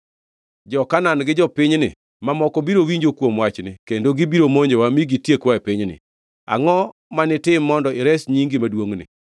Jo-Kanaan gi jopinyni mamoko biro winjo kuom wachni kendo gibiro monjowa mi gitiekwa e pinyni. Angʼo ma nitim mondo ires nyingi maduongʼni?”